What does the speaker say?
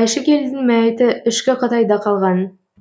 айшыкелдің мәйіті ішкі қытайда қалған